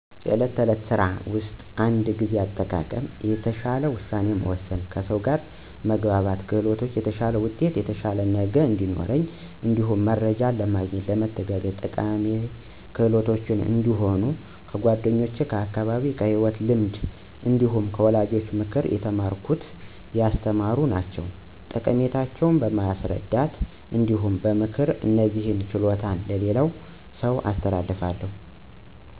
በዕለት ተዕለት ስራ ውስጥ እንደ ጊዜ አጠቃቀም፣ የተሻለ ውሳኔ መወሰን፣ ከሰው ጋር መግባባት ክህሎቶች የተሻለ ውጤት የተሻለ ነገ እዲኖረን እንዲሁም መረጃ ለማግኘት ለመተጋገዝ ጠቃሚ ክህሎቶች እንደሆኑ ከ ጓደኛ ከ አካባቢየ ከ ሂወት ልምድ እንዲሁም ከ ወላጆቼ ምክር የተማረኩት ያስተማሩ ናቸዉ። ጠቀሜታቸው በማስረዳት እንዲሁም በ ምክር እነዚህን ችሎታዎች ለሌላ ሰው አስተላልፋለሁ።